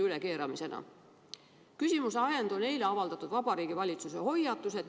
Minu küsimuse ajend on eile avaldatud Vabariigi Valitsuse hoiatused.